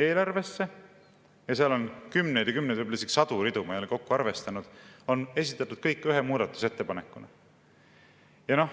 eelarvesse – seal on kümneid ja kümneid, võib-olla isegi sadu ridu, ma ei ole kokku arvestanud – on esitatud kõik ühe muudatusettepanekuna.